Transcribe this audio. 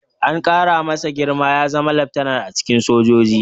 An ƙara masa girma ya zama laftanar a cikin sojoji.